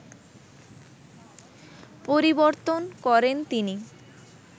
পরিবর্তন করেন তিনি